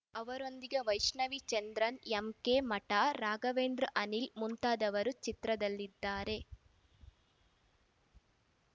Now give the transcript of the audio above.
ಅವರೊಂದಿಗೆ ವೈಷ್ಣವಿ ಚಂದ್ರನ್‌ಎಂಕೆ ಮಠ ರಾಘವೇಂದ್ರಅನಿಲ್‌ ಮುಂತಾದವರು ಚಿತ್ರದಲ್ಲಿದ್ದಾರೆ